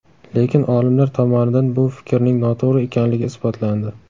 Lekin, olimlar tomonidan bu fikrning noto‘g‘ri ekanligi isbotlandi.